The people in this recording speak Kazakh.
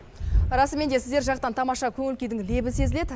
расымен де сіздер жақтан тамаша көңіл күйдің лебі сезіледі